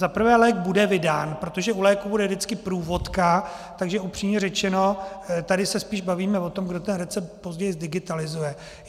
Za prvé lék bude vydán, protože u léku bude vždy průvodka, takže upřímně řečeno tady se spíše bavíme o tom, kdo ten recept později zdigitalizuje.